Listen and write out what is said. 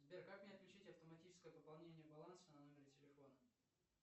сбер как мне отключить автоматическое пополнение баланса на номере телефона